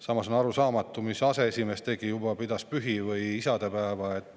Samas on arusaamatu, mida aseesimees tegi: kas pidas juba pühi või isadepäeva.